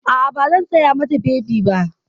A'a, ba zan saya mata bebi ba.